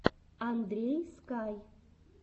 андрей скай